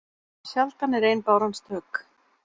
Sjaldan er ein báran stök.